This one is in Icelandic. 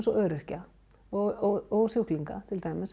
og öryrkja og sjúklinga til dæmis